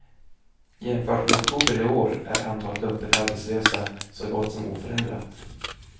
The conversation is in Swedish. Jämfört med oktober i år är antalet öppet arbetslösa så gott som oförändrat.